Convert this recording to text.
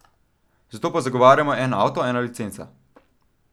Zato pa zagovarjamo en avto, ena licenca.